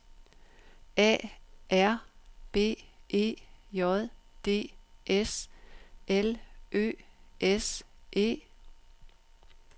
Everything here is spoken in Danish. A R B E J D S L Ø S E